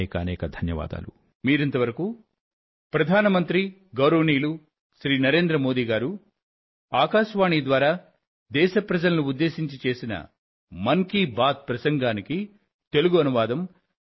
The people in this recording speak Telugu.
అనేకానేక ధన్యవాదాలు